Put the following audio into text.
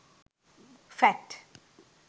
fat